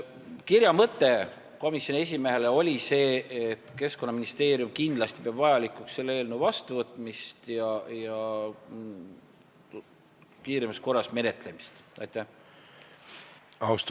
Komisjoni esimehele saadetud kirja mõte oli see, et Keskkonnaministeerium peab kindlasti vajalikuks selle eelnõu kiiremas korras menetlemist ja seaduse vastuvõtmist.